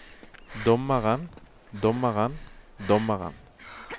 dommeren dommeren dommeren